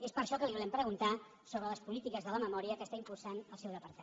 és per això que li volem preguntar sobre les polítiques de la memòria que impulsa el seu departament